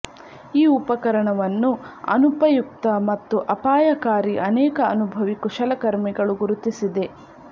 ಈ ಉಪಕರಣವನ್ನು ಅನುಪಯುಕ್ತ ಮತ್ತು ಅಪಾಯಕಾರಿ ಅನೇಕ ಅನುಭವಿ ಕುಶಲಕರ್ಮಿಗಳು ಗುರುತಿಸಿದೆ